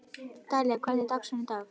Dalía, hvernig er dagskráin í dag?